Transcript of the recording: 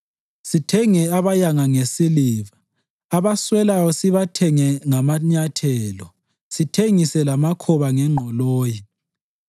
sithenge abayanga ngesiliva, abaswelayo sibathenge ngamanyathelo, sithengise lamakhoba ngengqoloyi.